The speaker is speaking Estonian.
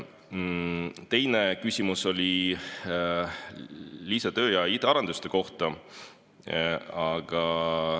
Teine küsimus oli lisatöö ja IT‑arenduste kohta.